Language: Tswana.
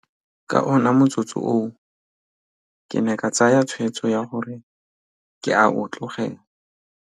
Ka ona motsotso oo ke ne ka tsaya tshwetso ya gore ke a o tlogela.